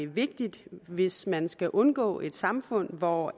vigtigt hvis man skal undgå et samfund hvor